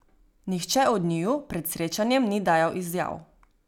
Nihče od njiju pred srečanjem ni dajal izjav.